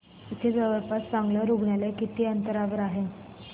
इथे जवळपास चांगलं रुग्णालय किती अंतरावर आहे